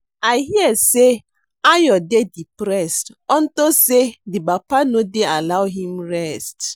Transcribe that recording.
I hear say Ayo dey depressed unto say the papa no dey allow him rest